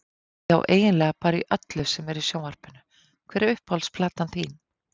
Já eiginlega bara öllu sem er í sjónvarpinu Hver er uppáhalds platan þín?